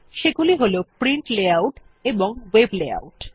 সেগুলি হল print layout এবং ভেব লেআউট